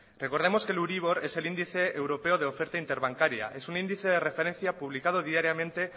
recordemos que el euribor es el índice europeo de oferta interbancaria es un índice de referencia publicado diariamente